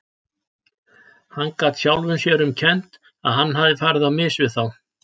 Hann gat sjálfum sér um kennt að hann hafði farið á mis við þá.